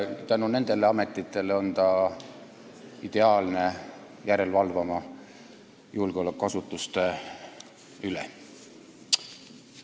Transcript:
Tänu nendele ametitele on ta ideaalne järele valvama julgeolekuasutuste üle.